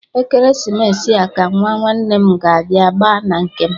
Ekeresimesi a ka Nwa nwanne m ga-abịa gba na nke m